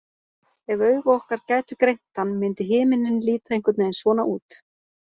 Ef augu okkar gætu greint hann myndi himinninn líta einhvern veginn svona út.